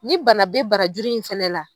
Ne bana bɛ barajuru in fana la.